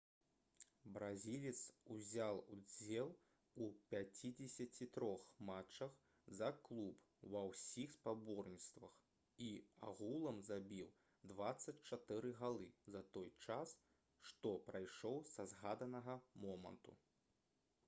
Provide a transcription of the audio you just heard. бразілец узяў удзел у 53 матчах за клуб ва ўсіх спаборніцтвах і агулам забіў 24 галы за той час што прайшоў са згаданага моманту